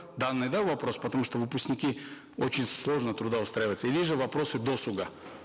данный да вопрос потому что выпускники очень сложно трудоустраиваются или же вопросы досуга